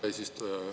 Hea eesistuja!